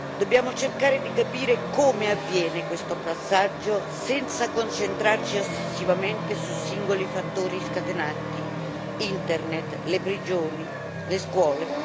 Dobbiamo cercare di capire come avviene questo passaggio, senza concentrarci ossessivamente su singoli fattori scatenanti Internet, le prigioni, le scuole.